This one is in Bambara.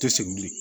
Tɛ segin bilen